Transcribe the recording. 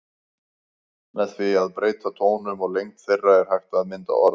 Með því að breyta tónum og lengd þeirra er hægt að mynda orð.